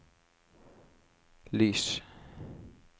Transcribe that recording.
lys